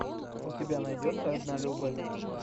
у тебя найдется однолюбы